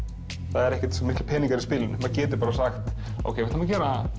það er ekkert svo miklir peningar í spilinu maður getur bara sagt ok við ætlum að